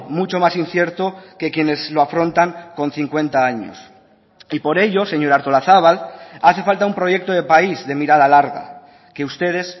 mucho más incierto que quienes lo afrontan con cincuenta años y por ello señora artolazabal hace falta un proyecto de país de mirada larga que ustedes